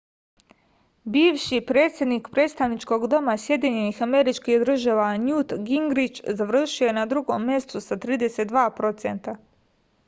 biviši predsednik predstavničkog doma sad njut gingrič završio je na drugom mestu sa 32 procenta